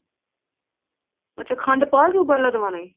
ਅੱਛਾ ਖੰਡ ਪਾ ਕੇ ਉਬਾਲਾ ਦਵਾਉਣ ਹੈ